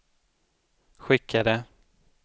skickade